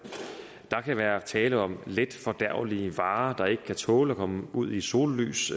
kan være tale om letfordærvelige varer der ikke kan tåle at komme ud i sollys